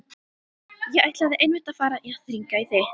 Ég ætlaði einmitt að fara að hringja í þig.